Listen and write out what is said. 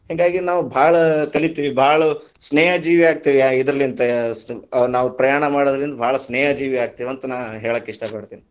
ಹಿಂಗಾಗಿ ನಾವು ಭಾಳ ಕಲಿತೀವಿ, ಭಾಳ ಸ್ನೇಹ ಜೀವಿಯಾಗತೀವಿ ಆ ಇದರಲಿಂತ ಸ ನಾವು ಪ್ರಯಾಣ ಮಾಡುದರಲಿಂತ ಭಾಳ ಸ್ನೇಹಜೀವಿಯಾಗ್ತೀವಿ ಅಂತ ನಾ ಹೇಳಾಕ ಇಷ್ಟಾ ಪಡತೀನಿ.